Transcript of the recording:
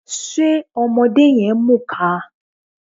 Ṣe ọmọdé yẹn ń mùka?